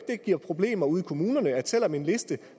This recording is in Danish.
det giver problemer ude i kommunerne selv om en liste